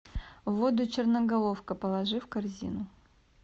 воду черноголовка положи в корзину